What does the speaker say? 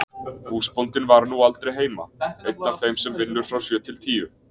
Húsbóndinn var nú aldrei heima, einn af þeim sem vinnur frá sjö til tíu.